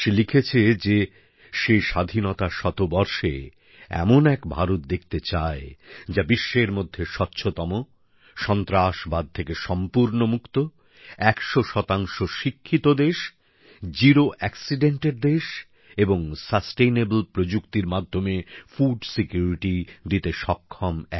সে লিখেছে যে সে স্বাধীনতার শতবর্ষে এমন এক ভারত দেখতে চায় যা বিশ্বের মধ্যে স্বচ্ছতম সন্ত্রাসবাদ থেকে সম্পূর্ণ মুক্ত ১০০ শিক্ষিত দেশ দুর্ঘটনামুক্ত দেশ এবং স্থিতিশীল প্রযুক্তির মাধ্যমে খাদ্য নিরাপত্তা দিতে সক্ষম